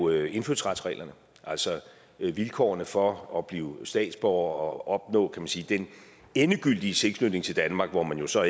er indfødsretsreglerne altså vilkårene for at blive statsborger og opnå man sige den endegyldige tilknytning til danmark hvor man så